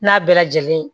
N'a bɛɛ lajɛlen